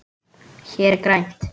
Hér er grænt.